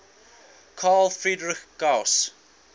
carl friedrich gauss